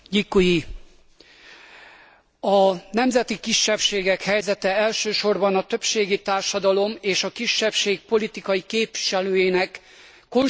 A nemzeti kisebbségek helyzete elsősorban a többségi társadalom és a kisebbség politikai képviselőjének konstruktív együttműködésétől függ.